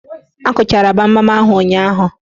Akụchara gbamgbam ahụ ụnyaahụ?